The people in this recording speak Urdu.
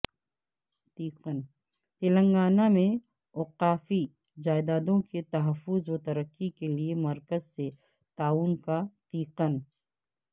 تلنگانہ میں اوقافی جائیدادوں کے تحفظ و ترقی کیلئے مرکز سے تعاون کا تیقن